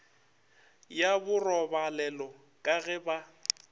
ya borobalelo ka ge ba